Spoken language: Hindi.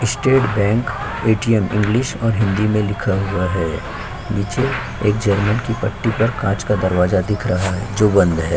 स्टेट बैंक ए.टी.एम इंग्लिश और हिंदी में लिखा हुआ है नीचे एक जनरल की पट्टी पर एक काँच का दरवाजा दिख रहा है जो बंद हैं।